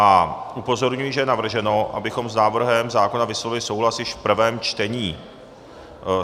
A upozorňuji, že je navrženo, abychom s návrhem zákona vyslovili souhlas již v prvém čtení.